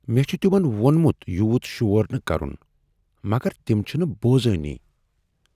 مےٚ چھ تمن ووٚنمت یوٗت شور نہ کرن، مگر تم چھنہٕ بوزانٕے۔